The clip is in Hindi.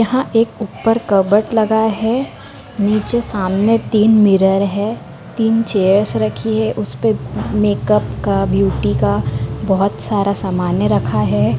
यहाँ एक ऊपर कवर्ड लगा है नीचे सामने तीन मिरर है तीन चेयर्स रखी है उसपे मैकआप का ब्यूटी का बहोत सारे सामाने रखा है।